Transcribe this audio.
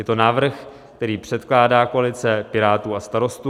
Je to návrh, který předkládá koalice Pirátů a Starostů.